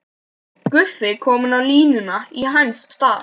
Guffi kominn á línuna í hans stað!